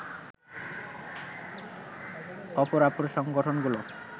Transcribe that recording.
অপরাপর সংগঠনগুলো